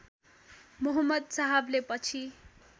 मुहम्मद साहबले पछि